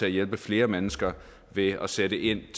og hjælpe flere mennesker ved at sætte ind